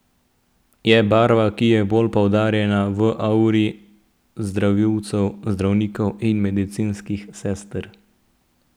Je barva, ki je bolj poudarjena v auri zdravilcev, zdravnikov in medicinskih sester.